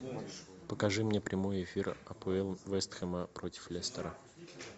покажи мне прямой эфир апл вест хэма против лестера